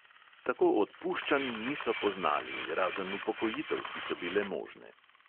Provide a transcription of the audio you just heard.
Tako odpuščanj niso poznali, razen upokojitev, ki so bile možne.